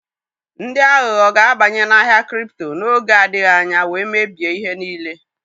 Ndị aghụghọ ga-abanye n'ahịa kripto n'oge adịghị anya wee mebie ihe niile.